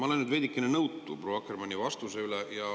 Ma olen nüüd veidikene nõutu proua Akkermanni vastuse pärast.